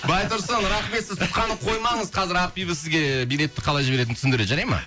байтұрсын рахмет сіз тұтқаны қоймаңыз қазір ақбибі сізге билетті қалай жіберетінін түсіндіреді жарай ма